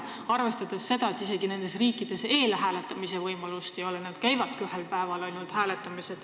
Tuleb arvestada, et nendes riikides ei ole isegi eelhääletamise võimalust, inimesed käivadki ainult ühel päeval hääletamas.